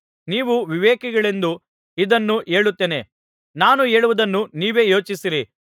ನೀವು ವಿವೇಕಿಗಳೆಂದು ಇದನ್ನು ಹೇಳುತ್ತೇನೆ ನಾನು ಹೇಳುವುದನ್ನು ನೀವೇ ಯೋಚಿಸಿರಿ